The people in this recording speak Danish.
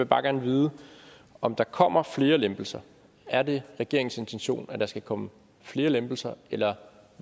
bare gerne vide om der kommer flere lempelser er det regeringens intention at der skal komme flere lempelser eller